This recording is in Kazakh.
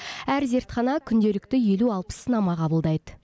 әр зертхана күнделікті елу алпыс сынама қабылдайды